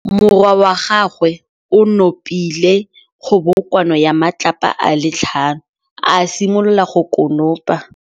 Morwa wa gagwe o nopile kgobokanô ya matlapa a le tlhano, a simolola go konopa.